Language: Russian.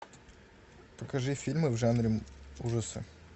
покажи фильмы в жанре ужасы